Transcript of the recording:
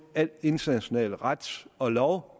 al international ret og lov